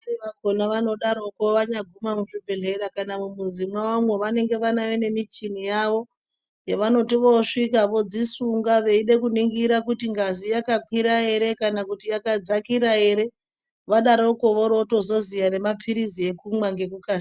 Vamweni vakhona anodaroko anyaguma muzvibhedhlera kana mumuzi mwawomwo vanenge vane michini yavo yavanoti vosvika vodzisunga veida kuningira kuti ngazi yakakwira ere kana kuti yakadzakira ere, vadaroko vorotozoziya nemapirizi ekumwa ngekukasira.